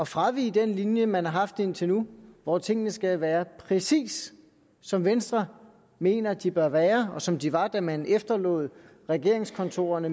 fravige den linje man har haft indtil nu hvor tingene skal være præcis som venstre mener at de bør være og som de var da man efterlod regeringskontorerne